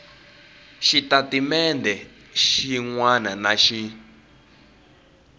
xitatimendhe xin wana na xin